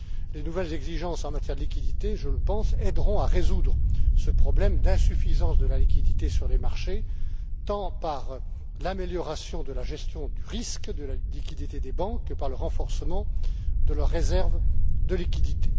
Les nouvelles exigences en matière de liquidités aideront, à mon avis, à résoudre ce problème d'insuffisance de la liquidité sur les marchés tant par l'amélioration de la gestion du risque de la liquidité des banques que par le renforcement de leurs réserves de liquidités.